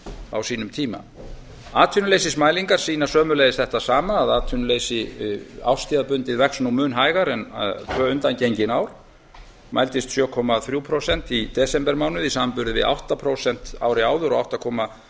á sínum tíma atvinnuleysismælingar sýna sömuleiðis þetta sama að atvinnuleysi árstíðabundið vex nú mun hægar en tvö undangengin ár mældist sjö komma þrjú prósent í desembermánuði í samanburði við átta prósent árið áður og átta komma